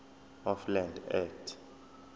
of land act